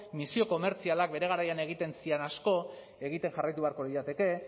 misio komertzialak bere garaian egiten ziren asko egiten jarraitu beharko lirateke